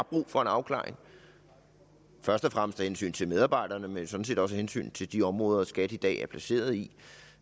brug for en afklaring først og fremmest af hensyn til medarbejderne men sådan set også af hensyn til de områder skat i dag er placeret i